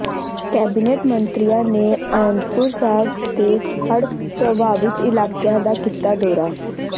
cabinet ਮੰਤਰੀਆਂ ਨੇ ਅਨੰਦਪੁਰ ਸਾਹਿਬ ਦੇ ਹੜ੍ਹ ਪ੍ਰਭਾਵਿਤ ਇਲਾਕਿਆਂ ਦਾ ਕੀਤਾ ਦੌਰਾ